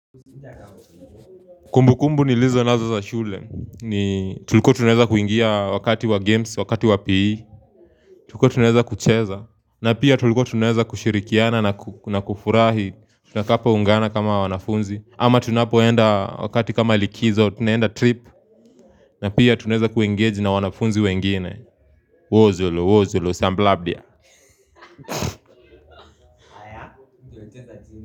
Kumbu kumbu ni lizo nazo za shule, ni tulikua tunaweza kuingia wakati wa games, wakati wa PE. Tulikua tunaweza kucheza, na pia tulikua tunaweza kushirikiana na kufurahi. Tutakapo ungana kama wanafunzi ama tunapoenda wakati kama likizo, tunaenda trip. Na pia tunaeza kuengeji na wanafunzi wengine Wozolo, wozolo, samblabia.